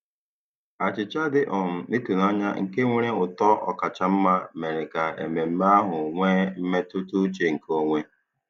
Achịcha dị um ịtụnanya nke nwere ụtọ ọkacha mma mere ka mmemme ahụ nwee mmetụtauche nke onwe.